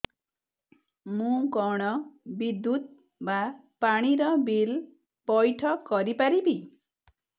ମୁ କଣ ବିଦ୍ୟୁତ ବା ପାଣି ର ବିଲ ପଇଠ କରି ପାରିବି